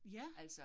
Ja